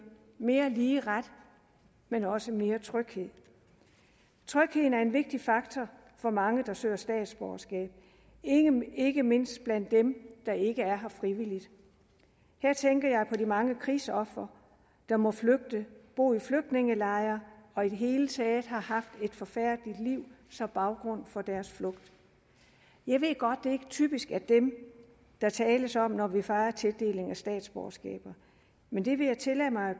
mere lige ret men også mere tryghed trygheden er en vigtig faktor for mange der søger statsborgerskab ikke mindst blandt dem der ikke er her frivilligt her tænker jeg på de mange krigsofre der må flygte bo i flygtningelejre og i det hele taget har haft et forfærdeligt liv som baggrund for deres flugt jeg ved godt det ikke typisk er dem der tales om når vi fejer tildeling af statsborgerskabet men det vil jeg tillade mig